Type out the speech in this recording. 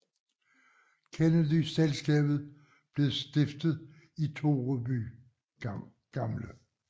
Kennedy Selskabet blev stiftet i Toreby gl